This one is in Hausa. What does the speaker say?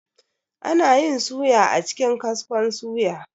Anayin suya a cikin kaskon suya